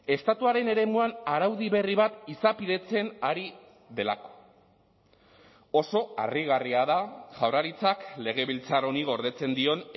estatuaren eremuan araudi berri bat izapidetzen ari delako oso harrigarria da jaurlaritzak legebiltzar honi gordetzen dion